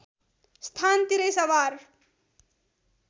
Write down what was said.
स्थान तिरै सवार